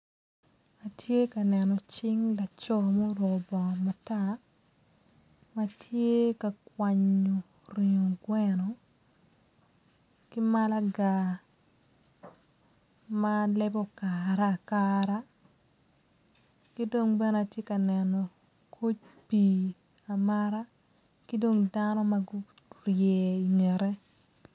Atye ka neno cing laco muruko bongo matar ma tye ka kwanyo ringo gweno ki malaga ma lebe okare akara ki dong bene atye ka neno koc pii amata ki dong dano ma gurye ingete.